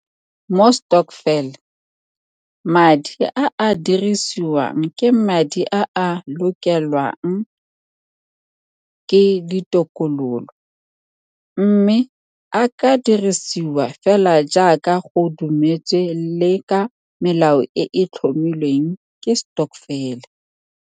Mo stokvel, madi a a ka dirisiwang ke madi a a lokelwang ke ditokololo, mme a ka dirisiwa fela jaaka go dumetswe le ka melao e e tlhomilweng ke stokvel.